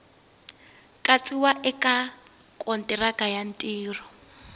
katsiwa eka kontiraka ya ntirho